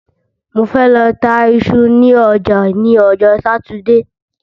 Mo fẹ́ lọ ta iṣu ní ọjà ní ọjọ́ Sátidé